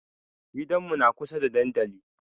Gidanmu na kusa da dandali.